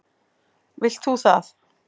Vilt þú það?